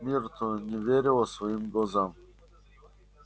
миртл не верила своим глазам